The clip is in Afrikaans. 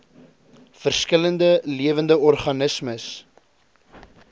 verskillende lewende organismes